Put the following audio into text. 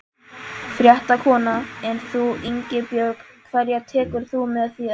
Fréttakona: En þú Ingibjörg, hverja tekur þú með þér?